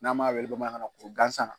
N'an m'a wele bamanankan na kuru gansan.